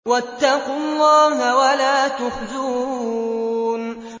وَاتَّقُوا اللَّهَ وَلَا تُخْزُونِ